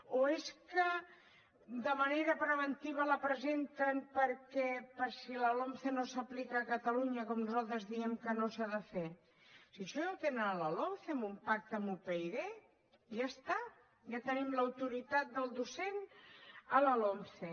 o és que de manera preventiva la presenten per si la lomce no s’aplica a catalunya com nosaltres diem que no s’ha de fer si això ja ho tenen a la lomce amb un pacte amb upyd ja està ja tenim l’autoritat del docent a la lomce